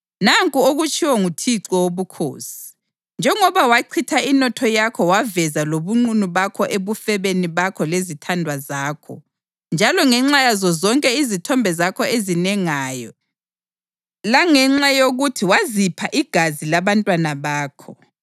Nanku okutshiwo nguThixo Wobukhosi: Njengoba wachitha inotho yakho waveza lobunqunu bakho ebufebeni bakho lezithandwa zakho, njalo ngenxa yazo zonke izithombe zakho ezinengayo, langenxa yokuthi wazipha igazi labantwana bakho,